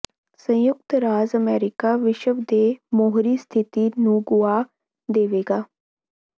ਸੰਯੁਕਤ ਰਾਜ ਅਮਰੀਕਾ ਵਿਸ਼ਵ ਦੇ ਮੋਹਰੀ ਸਥਿਤੀ ਨੂੰ ਗੁਆ ਦੇਵੇਗਾ